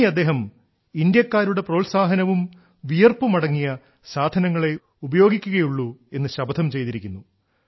ഇനി അദ്ദേഹം ഇന്ത്യാക്കാരുടെ പ്രോത്സാഹനവും വിയർപ്പുമടങ്ങിയ സാധനങ്ങളേ ഉപയോഗിക്കുകയുള്ളൂ എന്നു ശപഥം ചെയ്തിരിക്കുന്നു